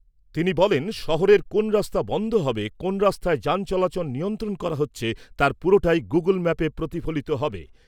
তিনি বলেন, শহরের কোন রাস্তা বন্ধ হবে, কোন রাস্তায় যান চলাচল নিয়ন্ত্রণ করা হচ্ছে তার পুরোটাই গুগল ম্যাপে প্রতিফলিত হবে।